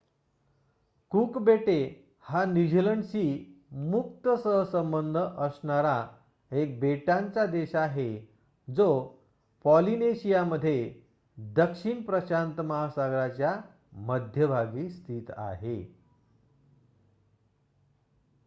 cook बेटे हा New Zealand शी मुक्त सहसंबध असणारा एक बेटांचा देश आहे जो पॉलीनेशिया मध्ये दक्षिण प्रशांत महासागराच्या मध्यभागी स्थित आहे